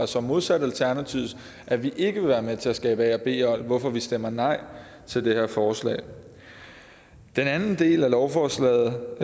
så modsat alternativets at vi ikke vil være med til at skabe et a b hold hvorfor vi stemmer nej til det her forslag den anden del af lovforslaget